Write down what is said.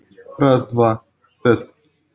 раз два тест